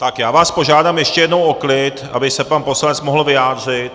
Tak já vás požádám ještě jednou o klid, aby se pan poslanec mohl vyjádřit.